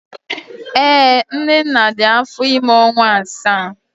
Ee, Nnenna dị afọ ime ọnwa asaa